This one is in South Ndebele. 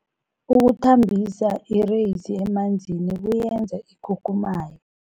Ukuthambisa ireyisi emanzini kuyenza ikhukhumaye.